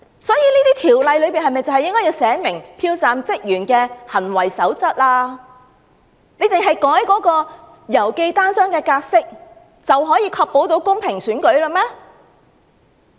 所以，《條例草案》應訂明票站職員的行為守則，難道只是修改郵寄信件的尺碼規定，便可以確保公平選舉嗎？